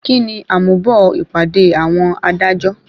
Kíni àmúbọ̀ ìpàdé àwọn adájọ́?